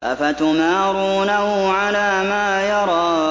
أَفَتُمَارُونَهُ عَلَىٰ مَا يَرَىٰ